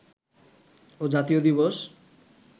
ও জাতীয় দিবস